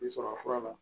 I sɔrɔ fura la